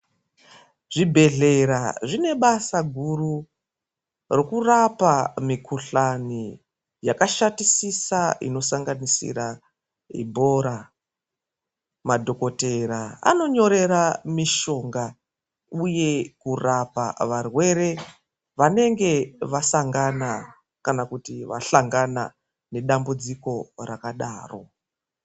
Zvibhedhlera zvine basa guru rekurapa mikuhlani yakashatisisa inosanganisira Ibhora. Madhogodheya anonyorera mishonga yekurapa varwere vanenge vasangana nedambudziko rakadaro.